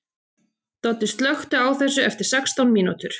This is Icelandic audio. Doddi, slökktu á þessu eftir sextán mínútur.